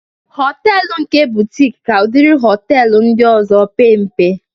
Họtelu nke butik ka udiri họtelu ndị ọzọ pee mpe